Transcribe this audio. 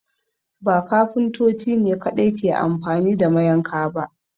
Ba Kafintoti ne kaɗai ke anfani da mayanka ba